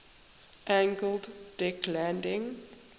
angled deck landing